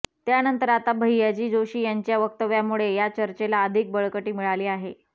त्यानंतर आता भय्याजी जोशी यांच्या वक्तव्यामुळे या चर्चेला अधिक बळकटी मिळाली आहे